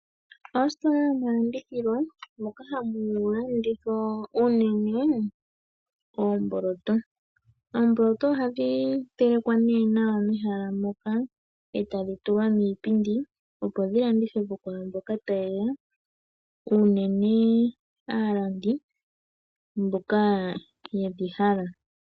Ositola yomalandithilo moka hamu landithwa unene oomboloto. Oomboloto ohadhi telekwa nee nawa mehala moka etadhi tulwa miipindi, opo dhi landithwe po kwaamboka taye ya unene aalandi mboka yedhi hala.